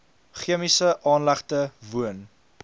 chemiese aanlegte woon